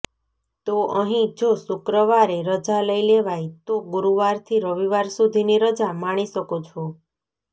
તો અહીં જો શુક્રવારે રજા લઈ લેવાય તો ગુરૂવારથી રવિવાર સુધીની રજા માણી શકો છો